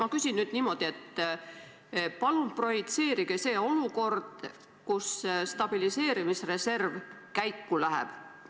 Ma küsin nüüd niimoodi: palun projitseerige see olukord, kui stabiliseerimisreserv käiku läheb.